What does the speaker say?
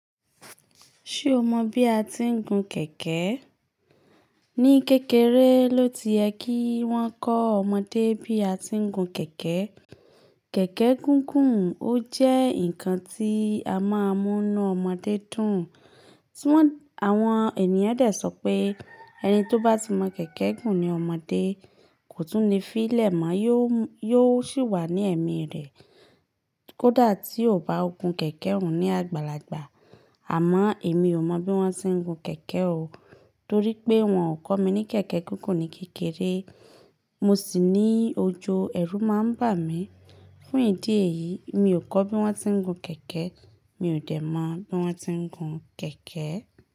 Ṣé o mọ bí a ti ń gun kẹ̀kẹ́? Ni kékeré ló ti ẹ kí wọ́n kọ́ ọmọdé bí a ti ń gun kẹ̀kẹ́. Kẹ̀kẹ́ gúngún ó jẹ́ ǹkan tí a máa ń mú nu ọmọdé dùn. Ti won àwọn ènìyàn de sọ pé ẹni tó bá ti mọ kẹ̀kẹ́ gùn ní ọmọdé kò tún le fi n lẹ̀ mọ̀, yóò sì wà ní ẹ̀mí rẹ̀ kó dà tí ò bá gun kẹ̀kẹ́ òun ní àgbàlagbà. Àmọ́ èmi ò mọ bí wọ́n se n gun kẹ̀kẹ́ o, torí pé wọ́n ò kọ́ mi ní kẹ̀kẹ́ gúngún ní kékeré. Mo sì ní ojó ẹrú máa ń bà mí. Fún ìdí èyí, mi ò kọ́ bí wọ́n ti ń gun kẹ̀kẹ́. Mi ò dẹ̀ mọ̀ bí wọ́n ti ń gun kẹ̀kẹ́.